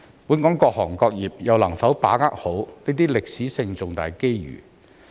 本港各行各業又能否把握好這些歷史性重大機遇？